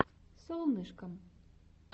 солнышкам